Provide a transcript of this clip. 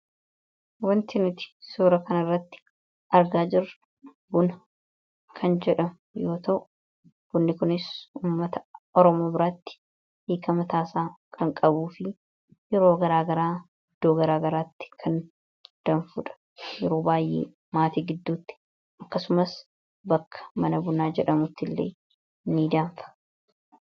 Wanti nuti suura kana irratti argaa jirru buna danfudha.